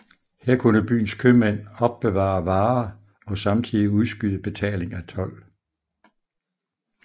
Her kunne byens købmænd opbevare varer og samtidig udskyde betaling af told